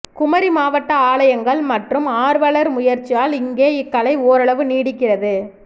குமரிமாவட்ட ஆலயங்கள் மற்றும் ஆர்வலர் முயற்சியால் இங்கே இக்கலை ஓரளவு நீடிக்கிறது